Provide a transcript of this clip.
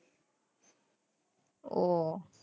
ઓહ,